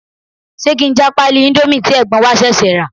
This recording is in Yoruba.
Ṣé kí n já pálí indomie tí ẹ̀gbọ́n wa ṣẹ̀ṣẹ̀ rà?